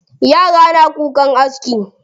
Yara na kukan aski.